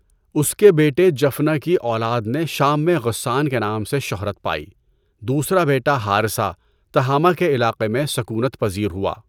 اس کے بیٹے جفنہ کی اولاد نے شام میں غسّان کے نام سے شہرت پائی، دوسرا بیٹا حارثہ، تہامہ کے علاقہ میں سکونت پذیر ہوا۔